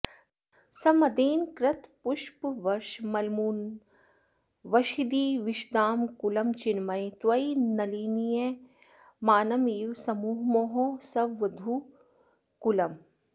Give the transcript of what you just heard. सम्मदेन कृतपुष्पवर्षमलमुन्मिषद्दिविषदां कुलं चिन्मये त्वयि निलीयमानमिव सम्मुमोह सवधूकुलम्